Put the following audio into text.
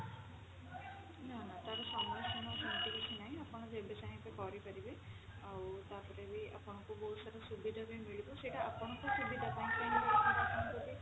ନା ନା ତାର ସମୟ ସୀମା ସେମିତି କିଛି ନାହିଁ ଆପଣ ଯେବେ ଚାହିଁଲେ କରିପାରିବେ ଆଉ ତାପରେ ବି ଆପଣଙ୍କୁ ବହୁତ ସାରା ସୁବିଧା ବି ମିଳିବ ସେଟା ଆପଣଙ୍କ ସୁବିଧା ପାଇଁ ଯଦି